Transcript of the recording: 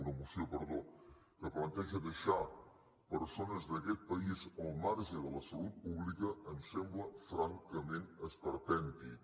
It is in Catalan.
una moció perdó que planteja deixar persones d’aquest país al marge de la salut pública em sembla francament esperpèntic